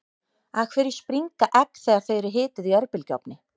af hverju springa egg þegar þau eru hituð í örbylgjuofni